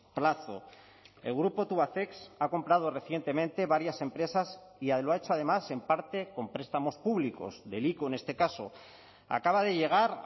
plazo el grupo tubacex ha comprado recientemente varias empresas y lo ha hecho además en parte con prestamos públicos del ico en este caso acaba de llegar